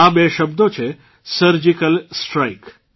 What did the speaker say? આ બે શબ્દો છે સર્જીકલ સ્ટ્રાઇક